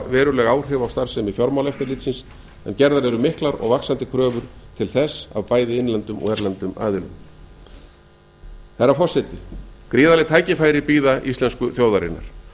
veruleg áhrif á starfsemi fjármálaeftirlitsins en gerðar eru miklar og vaxandi kröfur til þess af bæði innlendum og erlendum aðilum herra forseti gríðarleg tækifæri bíða íslensku þjóðarinnar